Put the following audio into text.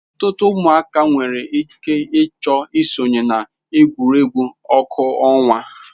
Ọtụtụ ụmụaka nwere ike ịchọ isonye na egwuregwu ọkụ ọnwa.